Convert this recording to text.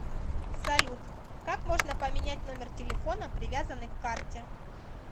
салют как можно поменять номер телефона привязанный к карте